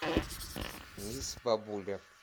мисс бабуля